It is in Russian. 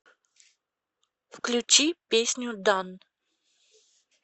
включи песню дан